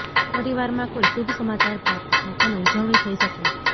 પરિવારમાં કોઈ શુભ સમાચાર પ્રાપ્ત થાય અને ઉજવણી થઈ શકે